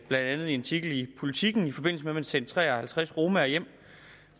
blandt andet i en artikel i politiken i forbindelse med at man sendte tre og halvtreds romaer hjem